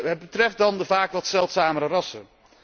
Het betreft dan de vaak wat zeldzamere rassen.